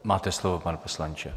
Máte slovo, pane poslanče.